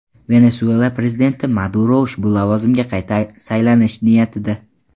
Venesuela prezidenti Maduro ushbu lavozimga qayta saylanish niyatida.